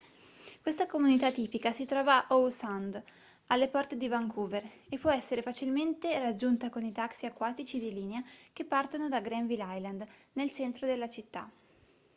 questa comunità tipica si trova a howe sound alle porte di vancouver e può essere facilmente raggiunta con i taxi acquatici di linea che partono da granville island nel centro della città